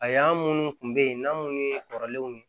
A y'an minnu kun be yen n'an munnu kɔrɔlen